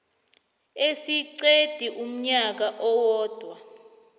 esingeqi umnyaka owodwa